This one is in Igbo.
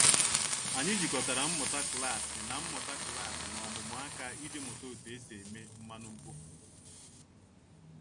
Anyị jikọtara mmụta klasị na mmụta klasị na ọmụmụ aka iji mụta otu esi eme mmanụ mkpofu.